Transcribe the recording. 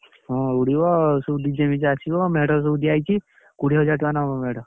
ହୁଁ ଉଡ଼ିବ ସବୁ DJ ଫିଯେ ଆସିବ ମେଢ ସବୁ ଦିଆହେଇଛି କୋଡିଏ ହଜାର ଟଙ୍କା ନବ ମେଢ।